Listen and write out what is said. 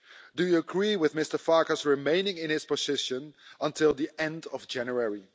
Do you agree with Mr Farkas remaining in his position until the end of January?